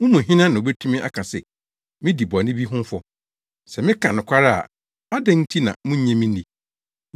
Mo mu hena na obetumi aka se midi bɔne bi ho fɔ? Sɛ meka nokware a adɛn nti na munnye me nni?